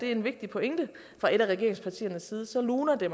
er en vigtig pointe fra et af regeringspartiernes side luner det